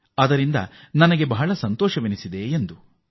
ಇದರಿಂದ ತಮಗೆ ಅತೀವ ಸಂತೋಷವಾಗಿದೆ ಎಂದು ಸಂತೋಷ್ ತಿಳಿಸಿದ್ದಾರೆ